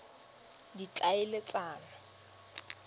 ditlhaeletsano